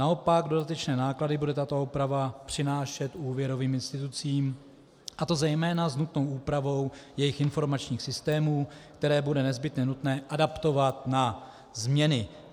Naopak dodatečné náklady bude tato úprava přinášet úvěrovým institucím, a to zejména s nutnou úpravou jejich informačních systémů, které bude nezbytně nutné adaptovat na změny.